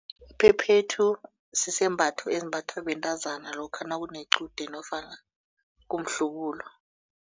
Iphephethu sisembatho ezimbatha bentazana lokha nakunequde nofana kumhlubulo.